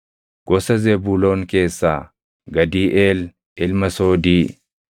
gosa Zebuuloon keessaa Gadiiʼeel ilma Soodii;